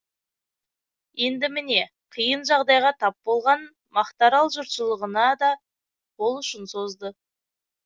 енді міне қиын жағдайға тап болған мақтарал жұртшылығына да қол ұшын созды